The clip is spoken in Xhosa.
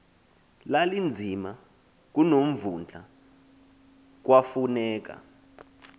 lalinzima kunomvundla kwafuneka